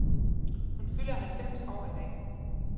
Hun fylder halvfems år i dag.